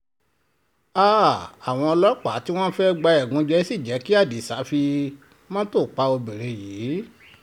háà àwọn ọlọ́pàá tí wọ́n fẹ́ẹ́ gba ẹ̀gúnjẹ sí jẹ́ kí adisa fi mọ́tò pa obìnrin yìí